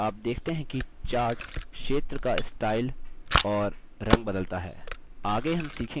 आप देखते हैं कि chart क्षेत्र का स्टाइल और रंग बदलता है